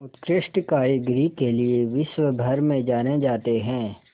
उत्कृष्ट कारीगरी के लिये विश्वभर में जाने जाते हैं